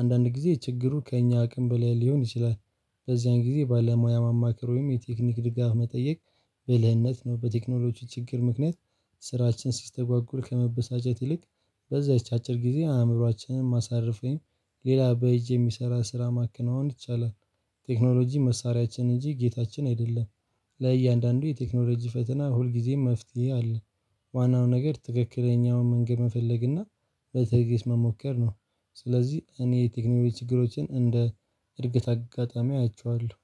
አንዳንድ ጊዜ ችግሩ ከእኛ አቅም በላይ ሊሆን ይችላል። በዚያን ጊዜ ባለሙያ ማማከር ወይም የቴክኒክ ድጋፍ መጠየቅ ብልህነት ነው። በቴክኖሎጂ ችግር ምክንያት ስራችን ሲስተጓጉር ከመበሳጨት ይልቅ በዛች አጭር ጊዜ አእምሮአችንን ማሳረፍ ወይም ሌላ በእጅ የሚሰራ ስራ ማከናወን ይቻላል። ቴክኖሎጂ መሳሪያችን እንጂ ጌታችን አይደለም። ለእያንዳንዱ የቴክኖሎጂ ፈተና ሁልጊዜም መፍትሄ አለ። ዋናው ነገር ትክክለኛውን መንገድ መፈለግና በትዕግስት መሞከር ነው። ስለዚህ እኔ የቴክኖሎጂ ችግሮችን እንደ እድገት አጋጣሚ አያቸዋለሁ።